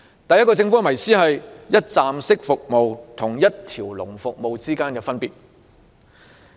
第一個迷思是一站式服務和一條龍服務之間的分別。